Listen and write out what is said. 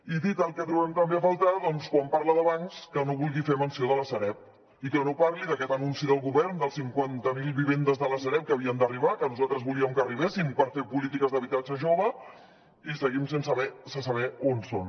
i dit el que trobem a faltar doncs quan parla de bancs que no vulgui fer menció de la sareb i que no parli d’aquest anunci del govern de les cinquanta mil vivendes de la sareb que havien d’arribar que nosaltres volíem que arribessin per fer polítiques d’habitatge jove i seguim sense saber on són